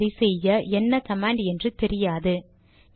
ஆனால் அதை செய்ய என்ன கமாண்ட் என்று தெரியாது